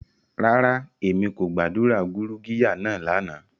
Rara, Emi ko gba gurugiya naa lana.